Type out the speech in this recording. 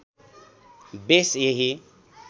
base यही